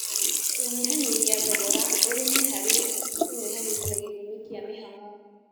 Kũnyihanyihia thogora ũrĩmi harĩ kũnyihanyihia gĩthimi kĩa mĩhang'o